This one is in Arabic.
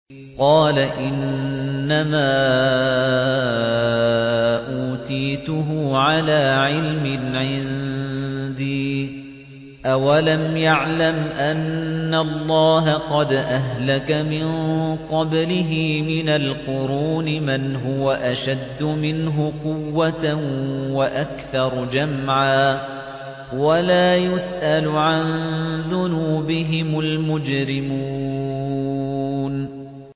قَالَ إِنَّمَا أُوتِيتُهُ عَلَىٰ عِلْمٍ عِندِي ۚ أَوَلَمْ يَعْلَمْ أَنَّ اللَّهَ قَدْ أَهْلَكَ مِن قَبْلِهِ مِنَ الْقُرُونِ مَنْ هُوَ أَشَدُّ مِنْهُ قُوَّةً وَأَكْثَرُ جَمْعًا ۚ وَلَا يُسْأَلُ عَن ذُنُوبِهِمُ الْمُجْرِمُونَ